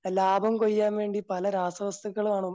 ലാഭം കൊയ്യാൻ വേണ്ടി പല രാസവസ്തുക്കളും